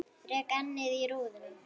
Rek ennið í rúðuna.